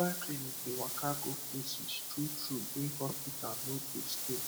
mobile clinic dey waka go places true true wey hospital no dey stay